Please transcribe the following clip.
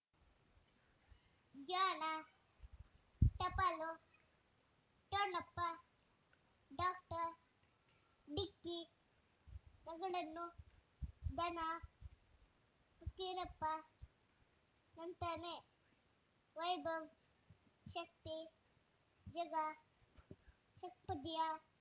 ಜಾಣ ಟಪಾಲು ಠೊಣಪ ಡಾಕ್ಟರ್ ಢಿಕ್ಕಿ ಣಗಳನು ಧನ ಫಕೀರಪ್ಪ ಳಂತಾನೆ ವೈಭವ್ ಶಕ್ತಿ ಝಗಾ ಷಟ್ ಪದಿಯ